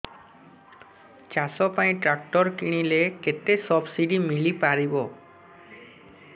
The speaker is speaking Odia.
ଚାଷ ପାଇଁ ଟ୍ରାକ୍ଟର କିଣିଲେ କେତେ ସବ୍ସିଡି ମିଳିପାରିବ